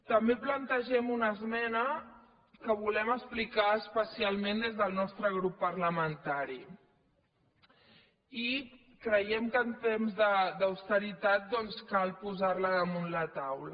també plantegem una esmena que volem explicar especialment des del nostre grup parlamentari i creiem que en temps d’austeritat doncs cal posar la damunt la taula